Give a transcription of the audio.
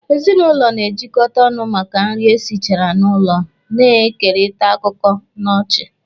Ezinụlọ na-ejikọta ọnụ maka nri esichara n'ụlọ, na-ekerịta akụkọ na ọchị.